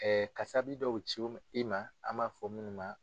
kasabi dɔw cogo i ma an b'a fɔ minnu ma.